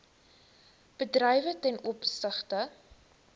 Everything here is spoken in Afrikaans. bedrywe ten opsigte